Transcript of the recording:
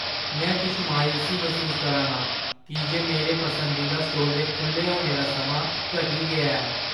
में किश मायूसी मसूस करा नां की जे मेरे पसंदीदा स्टोर दे खु'ल्ले होने दा समां घटी गेआ ऐ।